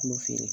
N'u feere